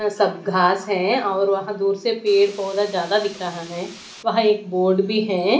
सब घास है और वहां दूर से पेड़ पौधा ज्यादा दिख रहा है वहां एक बोर्ड भी है।